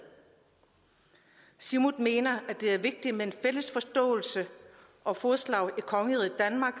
siumut mener det er vigtigt med en fælles forståelse og fodslag i kongeriget danmark